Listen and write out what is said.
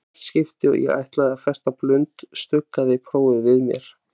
Í hvert skipti og ég ætlaði að festa blund stuggaði prófið við mér.